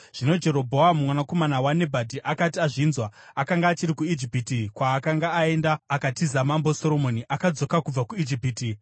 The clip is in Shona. Zvino Jerobhoamu, mwanakomana waNebhati, akati azvinzwa (akanga achiri kuIjipiti, kwaakanga aenda akatiza Mambo Soromoni) akadzoka kubva kuIjipiti.